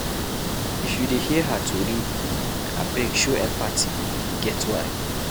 If you dey hear her tori, abeg show empathy e get why.